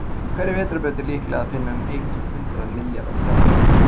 í hverri vetrarbraut er líklega að finna um eitt hundruð milljarða stjarna